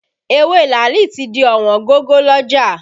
Ewé làálì tí di ọ̀wọ́n gogo lọ́jà